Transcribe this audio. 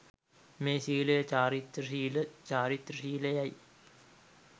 මේ සීලය චාරිත්‍ර ශීල, වාරිත්‍ර ශීල යැයි